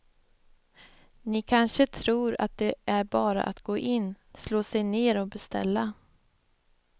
Ni kanske tror att det bara är att gå in, slå sig ner och beställa.